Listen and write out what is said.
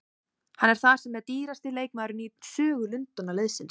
Hann er þar með dýrasti leikmaðurinn í sögu Lundúnarliðsins.